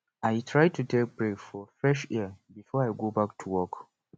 i try to take break for fresh air before i go back to work